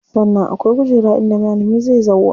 Sannan akwai kujera inda malami zai zauwa.